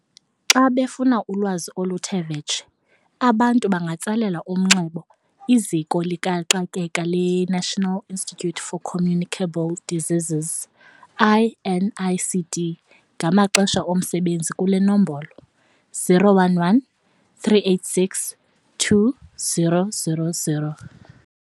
Xa befuna ulwazi oluthe vetshe, abantu bangatsalela umnxeba iZiko likaXakeka leNational Institute For Communicable Diseases, i-NICD, ngamaxesha omsebenzi kule nombolo 011 386 2000.